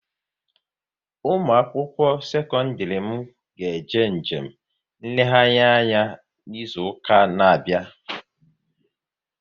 Ụmụakwụkwọ sekọndịrị m ga-eje njem nlegharị anya n'izuụka na-abịa